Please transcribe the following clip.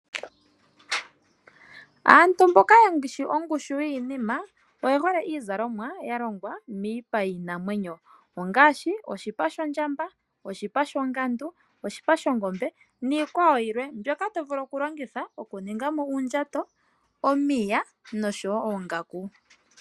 Aantu mboka yeshi ongushu yinima oyehole iizalomwa yalongwa miipa yinamwenyo ongashi oshipa shondjamba, oshipa shongandu, oshipa shongombe nikwawo yilwe mbyoka tovulu okulongitha okuningamo uundjato, omiya noshowo oongaku.